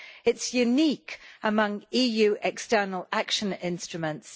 It is unique among EU external action instruments.